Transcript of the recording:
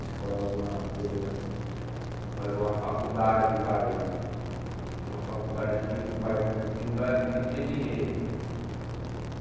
Escolhe alguma coisa, fazer uma faculdade, vai uma faculdade que os pais não que não dá não dê dinheiro né.